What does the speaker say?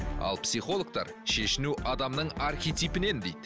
ал психологтар шешіну адамның архитипінен дейді